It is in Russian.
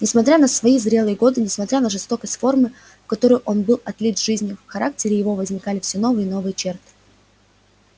несмотря на свои зрелые годы несмотря на жёсткость формы в которую он был отлит жизнью в характере его возникали все новые и новые черты